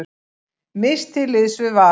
Mist til liðs við Val